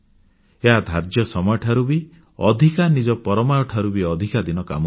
ଏହା ଧାର୍ଯ୍ୟ ସମୟ ଠାରୁ ବି ଅଧିକ ନିଜ ପରମାୟୁ ଠାରୁ ବି ଅଧିକ ଦିନ କାମ କରୁଛି